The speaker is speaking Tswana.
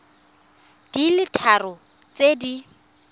di le tharo tse di